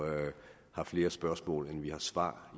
har flere spørgsmål end vi har svar